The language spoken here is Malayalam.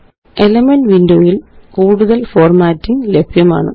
എലിമെന്റ്സ് വിൻഡോ യില് കൂടുതല് ഫോര്മാറ്റിംഗ് ലഭ്യമാണ്